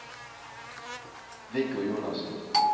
Viggo Jonassen